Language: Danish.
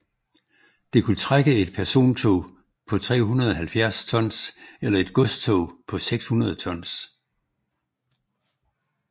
Det kunne trække et persontog på 370 tons eller et godstog på 600 tons